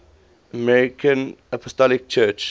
armenian apostolic church